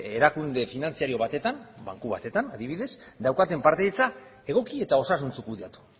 erakunde finantzario batetan banku batetan adibidez daukaten partaidetza egoki eta osasuntsu kudeatu